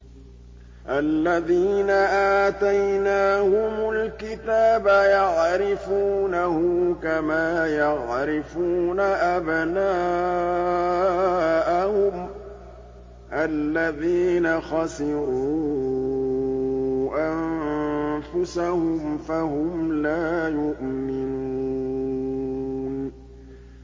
الَّذِينَ آتَيْنَاهُمُ الْكِتَابَ يَعْرِفُونَهُ كَمَا يَعْرِفُونَ أَبْنَاءَهُمُ ۘ الَّذِينَ خَسِرُوا أَنفُسَهُمْ فَهُمْ لَا يُؤْمِنُونَ